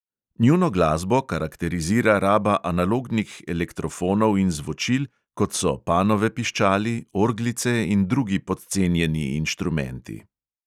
Njuno glasbo karakterizira raba analognih elektrofonov in zvočil, kot so panove piščali, orglice in drugi podcenjeni inštrumenti.